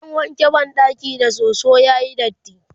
zan wanke banɗakin da soso yayi datti